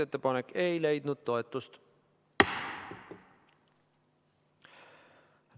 Ettepanek ei leidnud toetust.